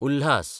Ulhas